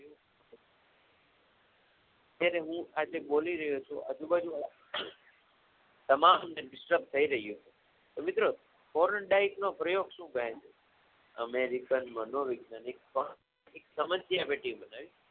જ્યારે હું આજે બોલી રહ્યો છું ત્યારે આજુ બાજુ વાળા તમામ થઈ રહ્યું છે તો મિત્રો પ્રયોગ શુ કહે છે અમેરિકન મનોવેજ્ઞાનિક પણ